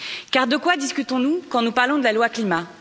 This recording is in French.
Car de quoi discutons nous quand nous parlons de la loi climat?